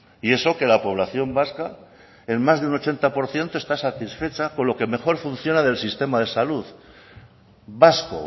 y eso que la población vasca en más de un ochenta por ciento está satisfecha con lo que mejor funciona del sistema de salud vasco